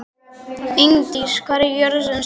Ingdís, hvað er jörðin stór?